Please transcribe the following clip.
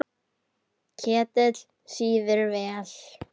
Ketill sýður vel.